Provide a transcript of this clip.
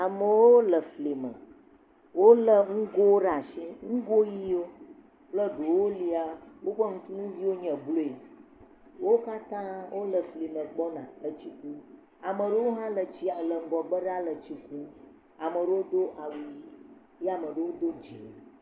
Amewo le fli me, wolé ŋgowo ɖe asi, ŋgo ʋiwo kple ɖewo lia woƒe nutuviwo nye blue wo katã wole fli me gbɔna, ameɖewo hã le tsi le ŋgɔgbe ɖaa le tsi kum ame ɖewo do awu ʋi eye ame aɖewo do dzɛ̃a.